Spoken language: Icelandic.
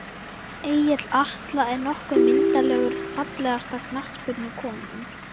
Egill Atla er nokkuð myndarlegur Fallegasta knattspyrnukonan?